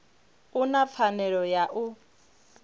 u na pfanelo ya u